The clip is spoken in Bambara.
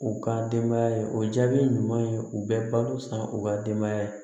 U ka denbaya ye o jaabi ɲuman ye u bɛ balo san u ka denbaya ye